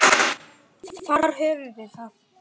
Þar höfðum við það.